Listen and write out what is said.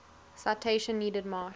citation needed march